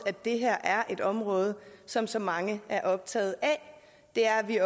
at det her er et område som så mange er optaget af det er vi